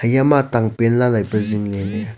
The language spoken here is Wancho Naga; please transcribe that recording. iya tangpen lai lai pe zingle ley.